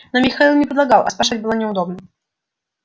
но михаил не предлагал а спрашивать было неудобно